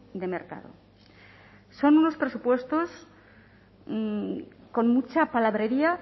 de mercado son unos presupuestos con mucha palabrería